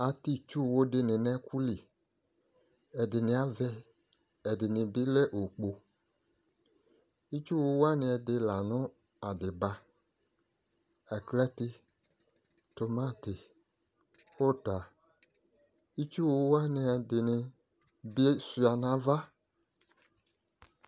Atɛ itsuwu de ne no ɛku li Ɛdene avɛ, ɛdene be lɛ okpo Itsuwu wane ɛde la no adiba, aklate, tomate, uta Itsuwu wanw ɛdene be sua no ava